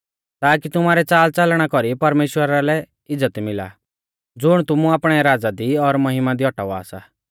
ताकि तुमारै च़ालच़लना कौरी परमेश्‍वरा लै इज़्ज़त मिला ज़ुण तुमु आपणै राज़ा दी और महिमा दी औटावा सा